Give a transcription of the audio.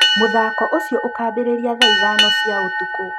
mũthako ũcio ũkambĩrĩria thaa ithano cia ũtukũ